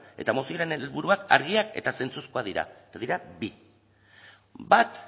eta mozioaren helburuak argiak eta zentzuzkoak dira eta dira bi bat